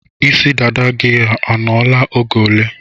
Isi dada gị ọ nọ la oge ole?